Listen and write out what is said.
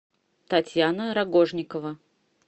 татьяна рогожникова